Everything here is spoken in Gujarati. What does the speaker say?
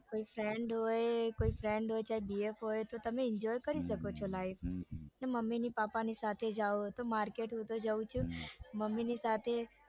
કોઈ friend હોય કોઈ friend હોય ચાહે bf હોય તો તમે enjoy કરી શકો છો life માં અને મમ્મીને પપાની સાથે જાઉં તો હૂતો market જાઉં જ છું મમ્મી ની સાથે જયારે